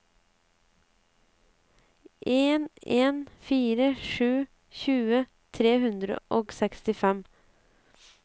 en en fire sju tjue tre hundre og sekstifem